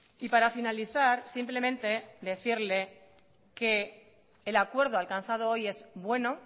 y para finalizar simplemente decirle que el acuerdo alcanzado hoy es bueno